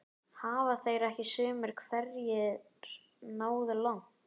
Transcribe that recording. Hafa þeir ekki sumir hverjir náð langt?